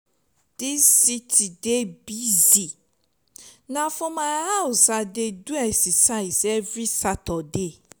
dis city dey busy na for my house i dey do exercise every saturday.